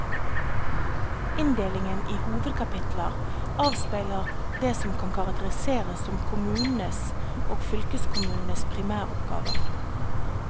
Inndelingen i hovedkapitler avspeiler det som kan karakteriseres som kommunenes og fylkeskommunenes primæroppgaver.